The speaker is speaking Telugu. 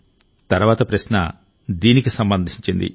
తర్వాతి ప్రశ్న దీనికి సంబంధించింది